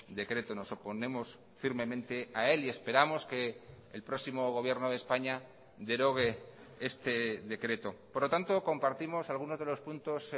decreto nos oponemos firmemente a él y esperamos que el próximo gobierno de españa derogue este decreto por lo tanto compartimos algunos de los puntos